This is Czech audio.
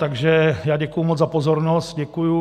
Takže já děkuji moc za pozornost, děkuji.